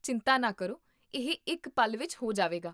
ਚਿੰਤਾ ਨਾ ਕਰੋ, ਇਹ ਇੱਕ ਪਲ ਵਿੱਚ ਹੋ ਜਾਵੇਗਾ